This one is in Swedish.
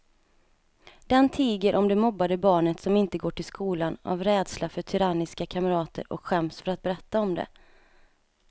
Den tiger om det mobbade barnet som inte går till skolan av rädsla för tyranniska kamrater och skäms för att berätta om det.